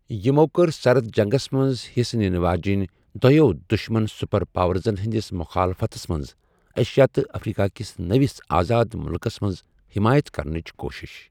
یِمو کوٚر سرد جنگس منٛز حِصہٕ نِنہٕ واجنۍ دۅیَو دُشمن سپر پاورزن ہٕنٛدِس مخالفتس منٛز ایشیا تہٕ افریقہ کِس نٔوِس آزاد مُلکس منٛز حمایت کرنٕچ کوٗشِش۔